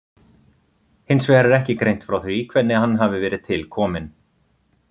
Hins vegar er ekki greint frá því hvernig hann hafi verið til kominn.